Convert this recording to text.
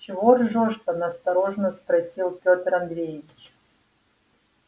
чего ржёшь-то настороженно спросил пётр андреевич